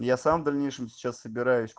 я сам в дальнейшем сейчас